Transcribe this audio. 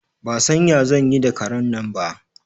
Ba san ya zan yi da karen nan ba.